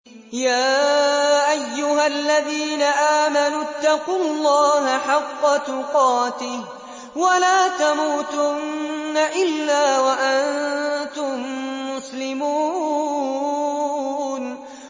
يَا أَيُّهَا الَّذِينَ آمَنُوا اتَّقُوا اللَّهَ حَقَّ تُقَاتِهِ وَلَا تَمُوتُنَّ إِلَّا وَأَنتُم مُّسْلِمُونَ